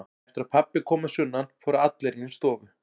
Eftir að pabbi kom að sunnan fóru allir inn í stofu.